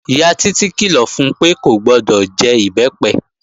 Ìyá Títí kìlọ̀ fun pé kò gbọdọ̀ jẹ Ìbẹ́pẹ